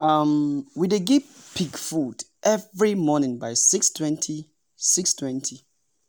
um we dey give pig food every morning by 6:20. 6:20.